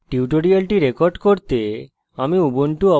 tutorial record করতে আমি